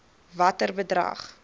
watter bedrag